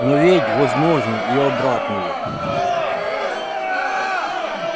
но ведь возможно и обратное